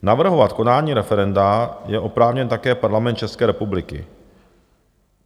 Navrhovat konání referenda je oprávněn také Parlament České republiky.